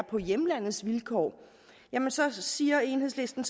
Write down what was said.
på hjemlandets vilkår og så siger enhedslisten